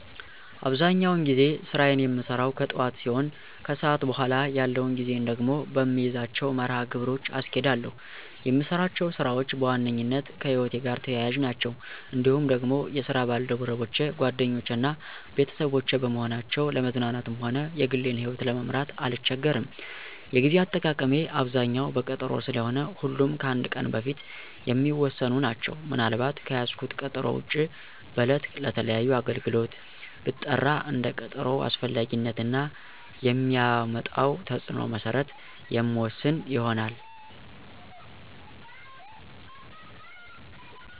አብዛኛውን ጊዜ ስራየን የምሰራው ከጥዋት ሲሆን ከሰዓት በኋላ ያለውን ጊዜየን ደግሞ በምይዛቸው መርሀ ግብሮች አስኬዳለሁ። የምሰራቸው ስራዎች በዋነኛነት ከህይወቴ ጋር ተያያዥ ናቸው። እንዲሁም ደግሞ የስራ ባልደረቦቼ ጓደኞቼ እና ቤተሰቦቼ በመሆናቸው ለመዝናናትም ሆነ የግሌን ይህወት ለመምራት አልቸገርም። የጌዜ አጠቃቀሜ አብዛኛው በቀጠሮ ስለሆነ ሁሉም ከአንድ ቀን በፊት የሚወሰኑ ናቸው። ምን አልባት ከያዝኩት ቀጠሮ ውጭ በዕለት ለተለያዩ አገልግሎት ብጠራ እንደ ቀጠሮው አስፈላጊነት እና የሚያመጣው ተፅዕኖ መሰረት የምወስን ይሆናል።